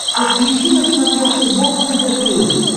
подключи на смотрешке бокс тв плюс